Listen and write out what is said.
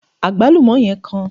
agbalumo yen kan